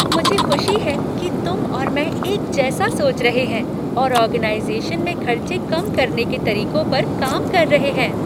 मुझे खुशी है कि तुम और मैं एक जैसा सोच रहे हैं और ऑर्गेनाइज़ेशन में खर्चे कम करने के तरीकों पर काम कर रहे हैं।